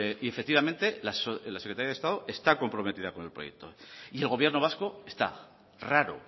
y efectivamente la secretaría de estado está comprometida con el proyecto y el gobierno vasco está raro